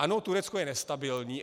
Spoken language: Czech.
Ano, Turecko je nestabilní.